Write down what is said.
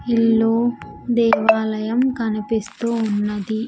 ఇల్లు దేవాలయం కనిపిస్తూ ఉన్నది.